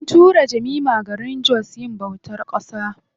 An tura Jemima garin jos yin bautar ƙasa.